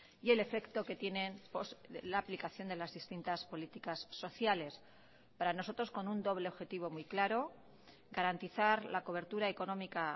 y el efecto que tienen la aplicación de las distintas políticas sociales para nosotros con un doble objetivo muy claro garantizar la cobertura económica